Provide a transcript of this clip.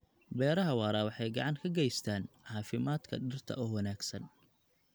Beeraha waara waxay gacan ka geystaan ??caafimaadka dhirta oo wanaagsan.